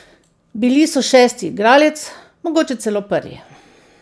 Bili so šesti igralec, mogoče celo prvi.